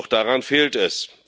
Doch daran fehlt es.